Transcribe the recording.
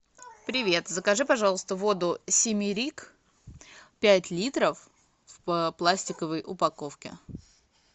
привет закажи пожалуйста воду семерик пять литров в пластиковой упаковке